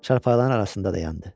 Çarpağların arasında dayandı.